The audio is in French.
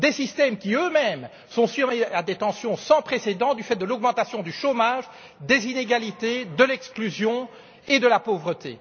Des systèmes qui, eux mêmes, sont soumis à des tensions sans précédent du fait de l'augmentation du chômage, des inégalités, de l'exclusion et de la pauvreté.